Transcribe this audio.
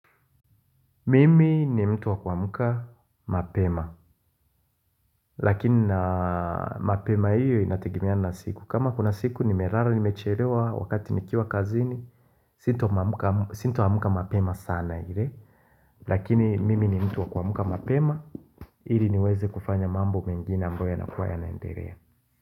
Mimi ni mtu wa kuamka mapema. Lakini na mapema hiyo inategemea na siku. Kama kuna siku nimelala nimechelewa wakati nikiwa kazini. Sita amka mapema sana ile. Lakini mimi ni mtu wa kuamka mapema. Ili niweze kufanya mambo mengine ambayo yanakuwa yanaendelea.